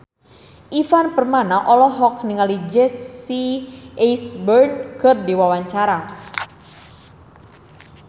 Ivan Permana olohok ningali Jesse Eisenberg keur diwawancara